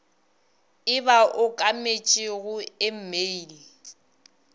e ba okametšego e mail